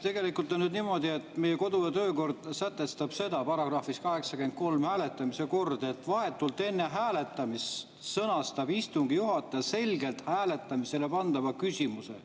Tegelikult on nüüd niimoodi, et meie kodu‑ ja töökord sätestab §‑s 83 "Hääletamise kord", et vahetult enne hääletamist sõnastab istungi juhataja selgelt hääletamisele pandava küsimuse.